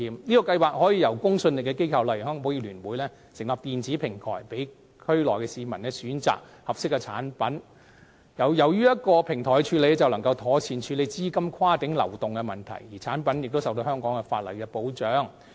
這個計劃可由有公信力的機構，例如香港保險業聯會成立電子平台，供區內居民選擇合適產品，而且透過電子平台處理，便可妥善處理資金跨境流動的問題，同時產品亦受到香港法例的保障。